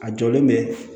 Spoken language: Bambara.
A jɔlen bɛ